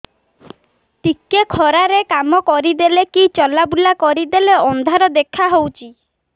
ଟିକେ ଖରା ରେ କାମ କରିଦେଲେ କି ଚଲବୁଲା କରିଦେଲେ ଅନ୍ଧାର ଦେଖା ହଉଚି